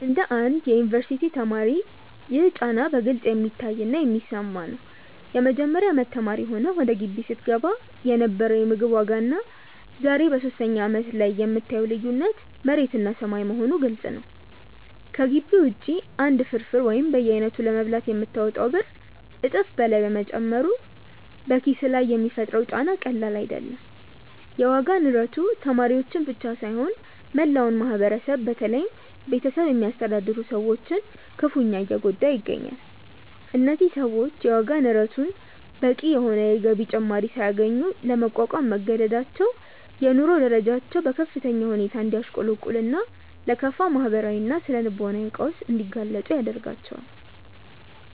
እንደ አንድ የዩኒቨርሲቲ ተማሪ ይህ ጫና በግልጽ የሚታይና የሚሰማ ነው። የመጀመሪያ አመት ተማሪ ሆነህ ወደ ግቢ ስትገባ የነበረው የምግብ ዋጋና ዛሬ በሶስተኛ አመትህ ላይ የምታየው ልዩነት መሬትና ሰማይ መሆኑ ግልጽ ነው። ከግቢ ውጪ አንድ ፍርፍር ወይም በየአይነቱ ለመብላት የምታወጣው ብር እጥፍ በላይ መጨመሩ በኪስህ ላይ የሚፈጥረው ጫና ቀላል አይደለም። የዋጋ ንረቱ ተማሪዎችን ብቻ ሳይሆን መላውን ማህበረሰብ በተለይም ቤተሰብ የሚያስተዳድሩ ሰዎችን ክፉኛ እየጎዳ ይገኛል። እነዚህ ሰዎች የዋጋ ንረቱን በቂ የሆነ የገቢ ጭማሪ ሳያገኙ ለመቋቋም መገደዳቸው የኑሮ ደረጃቸው በከፍተኛ ሁኔታ እንዲያሽቆለቁልና ለከፋ ማህበራዊና ስነ-ልቦናዊ ቀውስ እንዲጋለጡ ያደርጋቸዋል።